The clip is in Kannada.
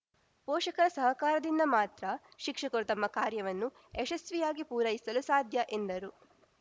ಪೋಷಕರ ಸಹಕಾರದಿಂದ ಮಾತ್ರ ಶಿಕ್ಷಕರು ತಮ್ಮ ಕಾರ್ಯವನ್ನು ಯಶಸ್ಸಿಯಾಗಿ ಪೂರೈಸಲು ಸಾಧ್ಯ ಎಂದರು